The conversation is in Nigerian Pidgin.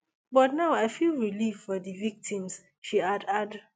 but now i feel relieved for di victims she add add